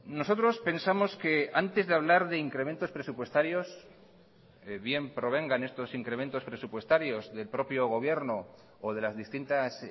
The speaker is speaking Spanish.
nosotros pensamos que antes de hablar de incrementos presupuestarios bien provengan estos incrementos presupuestarios del propio gobierno o de las distintas